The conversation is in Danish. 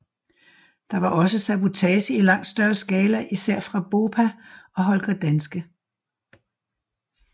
Der var også sabotage i langt større skala især fra BOPA og Holger Danske